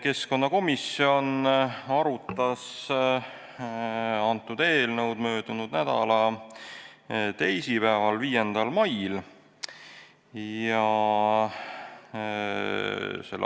Keskkonnakomisjon arutas seda eelnõu möödunud nädala teisipäeval, 5. mail.